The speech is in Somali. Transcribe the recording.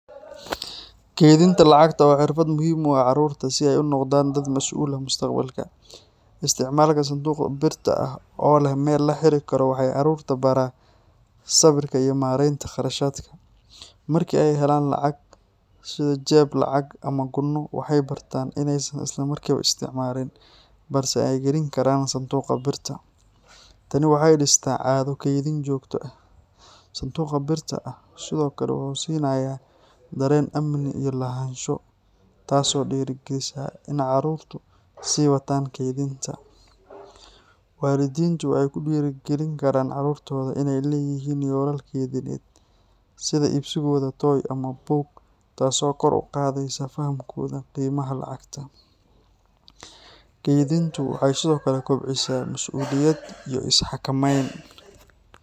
Kaydinta lacagta waa xirfad muhiim u ah carruurta si ay u noqdaan dad mas’uul ah mustaqbalka. Isticmaalka sanduuqa birta ah oo leh meel la xiri karo waxay carruurta baraa sabirka iyo maaraynta kharashaadka. Marka ay helaan lacag, sida jeeb-lacag ama gunno, waxay bartaan inaysan isla markiiba isticmaalin, balse ay gelin karaan sanduuqa birta. Tani waxay dhistaa caado kaydin joogto ah. Sanduuqa birta ah sidoo kale wuxuu siinayaa dareen amni iyo lahaansho, taasoo dhiirrigelisa in carruurtu sii wataan kaydinta. Waalidiintu waxay ku dhiirrigelin karaan carruurtooda inay leeyihiin yoolal kaydineed sida iibsigooda toy ama buug, taasoo kor u qaadaysa fahamkooda qiimaha lacagta. Kaydintu waxay sidoo kale kobcisaa mas’uuliyad iyo is xakameyn.